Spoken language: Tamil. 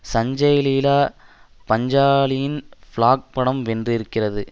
சஞ்சய்லீலா பஞ்சாலியின் பிளாக் படம் வென்றிருக்கிறது